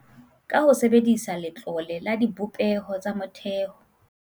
Ka ho sebedisa Letlole la Dibopeho tsa Motheo